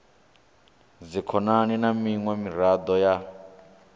dzikhonani na miṅwe miraḓo ya